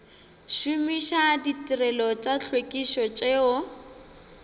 šomiša ditirelo tša tlhwekišo tšeo